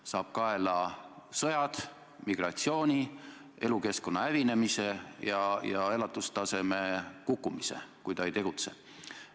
Ta saab kaela sõjad, migratsiooni, elukeskkonna hävinemise ja elatustaseme kukkumise, kui ta ei tegutse.